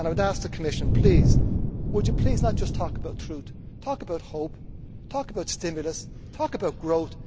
I would ask the Commission, please, would you not just talk about truth, talk about hope, talk about stimulus, talk about growth.